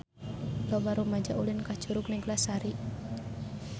Loba rumaja ulin ka Curug Neglasari